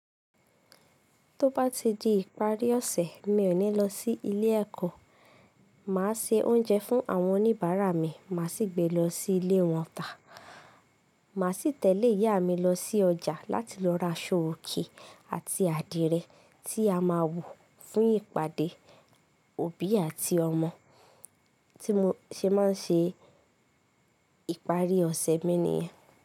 Tó bá ti di ìparí ọ̀sẹ̀, mi ò ní lọ sí ilé ẹ̀kọ́. Màá se oúnjẹ fún àwọn oníbàárà mi, màá sì gbé lọ sí ilé wọn tá. Màá sì tẹ̀lé ìyá mi lọ sí ọjà láti lọ ra aṣọ òkè àti àdìrẹ́ tí a máa wọ̀ fún ìpàdé òbí àti ọmọ tí mo ṣe máa ń ṣe ìparí ọ̀sẹ̀ mi nìyẹn.